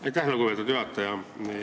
Aitäh, lugupeetud juhataja!